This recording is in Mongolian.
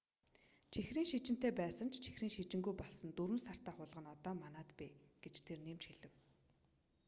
чихрийн шижинтэй байсан ч чихрийн шижингүй болсон 4 сартай хулгана одоо манайд бий гэж тэр нэмж хэлэв